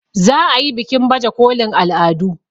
za a yi bikin baje kolin al'adun